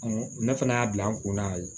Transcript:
ne fana y'a bila n kun na